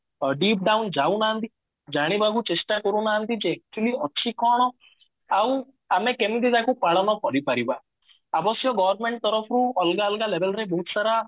deep bound ଯାଉନାହାନ୍ତି ଜାଣିବାକୁ ଚେଷ୍ଟା କରୁ ନାହାନ୍ତି ଯେ actually ଅଛି କଣ ଆଉ ଆମେ କେମତି ତାକୁ ପାଳନ କରିପାରିବା ଅବଶ୍ୟ government ତରଫରୁ ଅଲଗା ଅଲଗା label ରେ ବହୁତ ସାରା